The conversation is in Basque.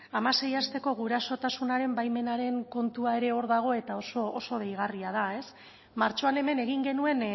hamasei hasteko gurasotasunaren baimenaren kontua ere hor dago eta oso deigarria da martxoan hemen egin genuen